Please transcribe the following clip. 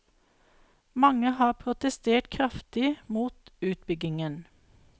Mange har protestert kraftig mot utbyggingen.